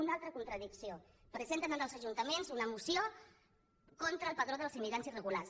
una altra contradicció presenten en els ajuntaments una moció contra el padró dels immigrants irregulars